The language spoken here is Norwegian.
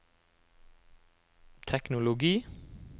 teknologi